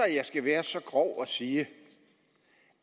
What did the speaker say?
jeg skal være så grov at sige